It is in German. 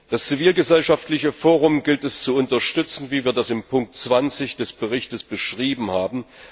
Das zivilgesellschaftliche Forum gilt es zu unterstützen, wie wir das in Ziffer 20 des Berichts beschrieben haben.